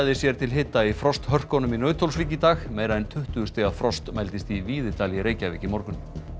sér til hita í frosthörkunum í Nauthólsvík í dag meira en tuttugu stiga frost mældist í Víðidal í Reykjavík í morgun